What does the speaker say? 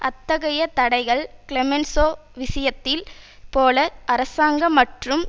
அத்தகைய தடைகள் கிளெமென்சோ விஷயத்தில் போல அரசாங்க மற்றும்